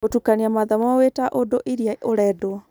Gũtukania mathomo wĩta ũndũ ĩrĩa ũrendwo